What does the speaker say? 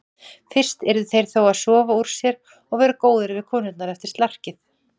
Fyrst yrðu þeir þó að sofa úr sér og vera góðir við konurnar eftir slarkið.